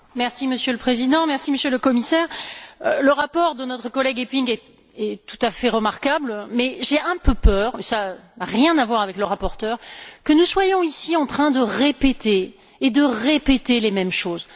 Monsieur le Président, Monsieur le Commissaire, le rapport de notre collègue Eppink est tout à fait remarquable mais j'ai un peu peur ça n'a rien à voir avec le rapporteur que nous soyons ici en train de répéter et de répéter les mêmes choses.